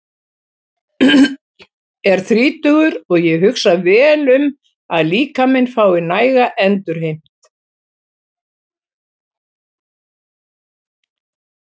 Ég er þrítugur og ég hugsa vel um að líkaminn fái næga endurheimt.